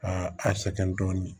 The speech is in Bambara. Aa a sɛgɛn dɔɔnin